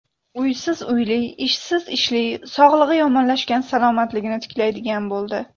Uysiz uyli, ishsiz ishli, sog‘lig‘i yomonlashgan salomatligini tiklaydigan bo‘ldi.